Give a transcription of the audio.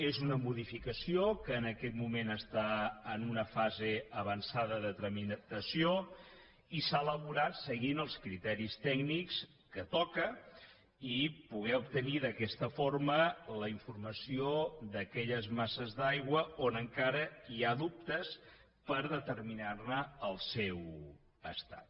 és una modificació que en aquest moment està en una fase avançada de tramitació i s’ha elaborat seguint els criteris tècnics que toquen i poder obtenir d’aquesta forma la informació d’aquelles masses d’aigua on encara hi ha dubtes per determinar ne l’estat